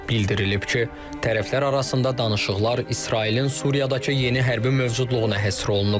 Bildirilib ki, tərəflər arasında danışıqlar İsrailin Suriyadakı yeni hərbi mövcudluğuna həsr olunub.